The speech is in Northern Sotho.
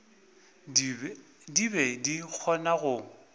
di be di kgona go